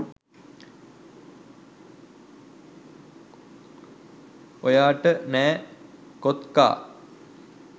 ඔයාට නෑ කෝත්කා.